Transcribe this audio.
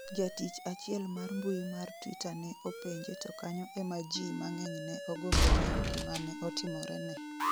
jatich achiel mar mbui mar twitter ne openje to kanyo ema jii mang'eny ne ogombo ng'eyo gima ne otimorene